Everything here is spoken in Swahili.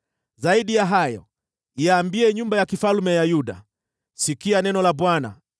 “Zaidi ya hayo, ambia nyumba ya mfalme ya Yuda, ‘Sikia neno la Bwana ,